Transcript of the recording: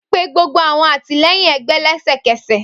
Pe gbogbo awọn atilẹyin ẹgbẹ lẹsẹkẹsẹ